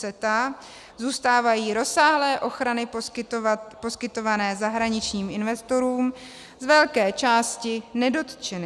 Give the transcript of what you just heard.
CETA zůstávají rozsáhlé ochrany poskytované zahraničním investorům z velké části nedotčeny.